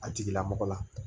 A tigilamɔgɔ la